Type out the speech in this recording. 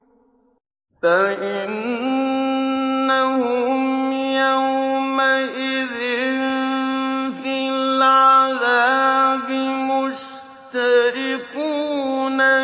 فَإِنَّهُمْ يَوْمَئِذٍ فِي الْعَذَابِ مُشْتَرِكُونَ